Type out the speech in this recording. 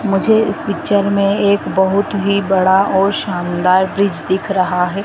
मुझे इस पिक्चर में एक बहुत ही बड़ा और शानदार ब्रिज दिख रहा है।